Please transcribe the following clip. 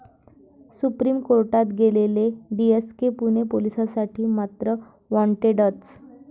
Supreme कोर्टात गेलेले 'DSK' Pune पोलिसांसाठी मात्र 'वॉन्टेडच'!